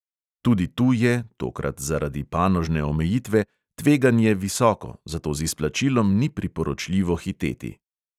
Tudi tu je, tokrat zaradi panožne omejitve, tveganje visoko, zato z izplačilom ni priporočljivo hiteti.